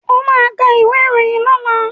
Ó ka ìwé ìròyìn lọ́la!